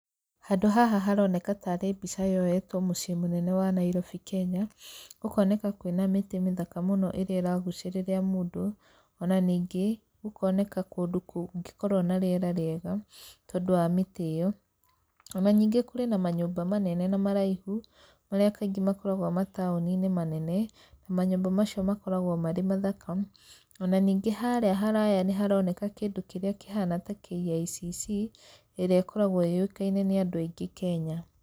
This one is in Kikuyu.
Handũ haha haroneka ta arĩ mbica yoetwo mũciĩ mũnene wa Nairobi Kenya, gũkoneka kwĩna mĩtĩ mĩthaka mũno ĩrĩa ĩragucĩrĩria mũndũ, ona ningĩ gũkoneka kũndũ kũngĩkorwo na rĩera rĩega, tondũ wa mĩtĩ ĩyo. Ona ningĩ kũrĩ na manyũmba manene na maraihu marĩa kaingĩ makoragwo mataũni-inĩ manene, na manyũmba macio makoragwo marĩ mathaka. Ona ningĩ harĩa haraya nĩ haroneka kĩndũ kĩrĩa kĩhana ta KICC ĩrĩa ĩkoragwo yũĩkaine nĩ andũ aingĩ Kenya.